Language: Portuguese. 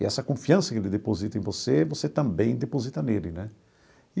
E essa confiança que ele deposita em você, você também deposita nele, né?